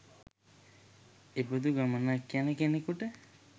එබඳු ගමනක් යන කෙනෙකුට